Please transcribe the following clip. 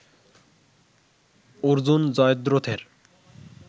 Arjun জয়দ্রথের